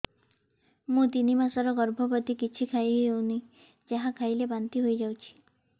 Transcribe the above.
ମୁଁ ତିନି ମାସର ଗର୍ଭବତୀ କିଛି ଖାଇ ହେଉନି ଯାହା ଖାଇଲେ ବାନ୍ତି ହୋଇଯାଉଛି